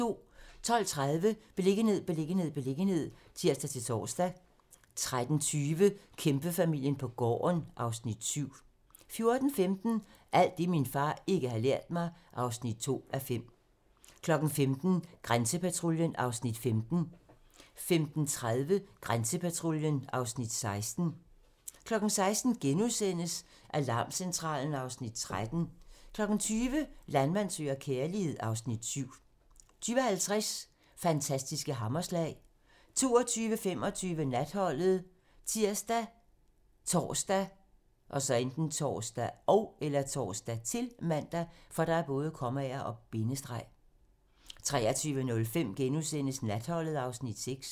12:30: Beliggenhed, beliggenhed, beliggenhed (tir-tor) 13:20: Kæmpefamilien på gården (Afs. 7) 14:15: Alt det, min far ikke har lært mig (2:5) 15:00: Grænsepatruljen (Afs. 15) 15:30: Grænsepatruljen (Afs. 16) 16:00: Alarmcentralen (Afs. 13)* 20:00: Landmand søger kærlighed (Afs. 7) 20:50: Fantastiske hammerslag (tir) 22:25: Natholdet ( tir, tor, -man) 23:05: Natholdet (Afs. 6)*